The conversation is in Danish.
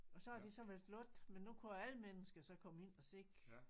Og så har de så været lukket men nu kunne alle mennesker så komme ind og se